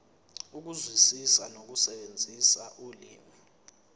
ukuzwisisa nokusebenzisa ulimi